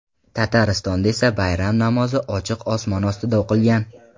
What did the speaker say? Tataristonda esa bayram namozi ochiq osmon ostida o‘qilgan.